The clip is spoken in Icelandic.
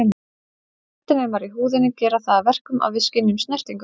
Snertinemar í húðinni gera það að verkum að við skynjum snertingu.